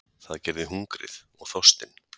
Það gerði hungrið og þorstinn.